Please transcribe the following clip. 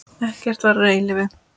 Ekkert varir að eilífu.